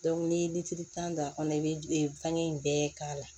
n'i ye tan don a kɔnɔ i bɛ fɛngɛ in bɛɛ k'a la